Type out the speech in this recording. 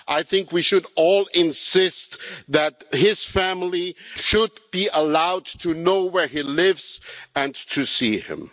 I think we should all insist that his family should be allowed to know where he lives and to see him.